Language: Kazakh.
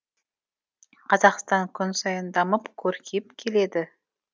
қазақстан күн сайын дамып көркейіп келеді